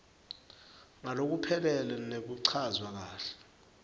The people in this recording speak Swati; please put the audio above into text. ngalokuphelele nekuchazwa kahle